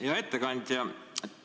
Hea ettekandja!